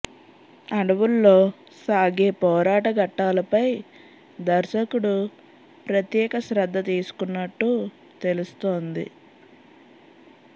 అడవుల్లో సాగే పోరాట ఘట్టాలపై దర్శకుడు ప్రత్యేక శ్రద్ధ తీసుకున్నట్టు తెలుస్తోంది